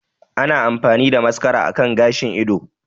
Ana amfani da mascara akan gashin ido